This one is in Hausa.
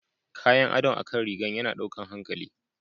Kayan adon akan rigan yana ɗaukan hankali.